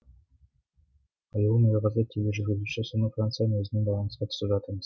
аяулым ерғазы тележүргізуші сонау францияның өзімен байланысқа түсіп жатырмыз